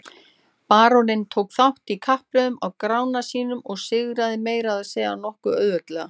Baróninn tók þátt í kappreiðunum á Grána sínum og sigraði meira að segja nokkuð auðveldlega.